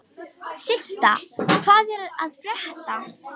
Systa, hvað er að frétta?